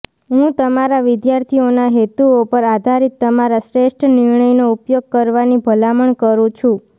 હું તમારા વિદ્યાર્થીઓના હેતુઓ પર આધારિત તમારા શ્રેષ્ઠ નિર્ણયનો ઉપયોગ કરવાની ભલામણ કરું છું